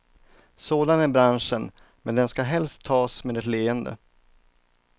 Sådan är branschen, men den ska helst tas med ett leende.